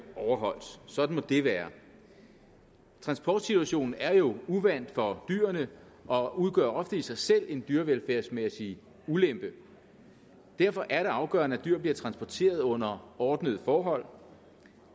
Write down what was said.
overholdt sådan må det være transportsituationen er jo uvant for dyrene og udgør ofte i sig selv en dyrevelfærdsmæssig ulempe derfor er det afgørende at dyr bliver transporteret under ordnede forhold